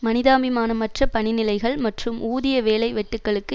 மனிதாபிமானமற்ற பணி நிலைமைகள் மற்றும் ஊதிய வேலை வெட்டுக்களுக்கு